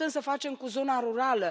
Ce putem să facem cu zona rurală?